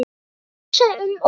Hann hugsaði um okkur.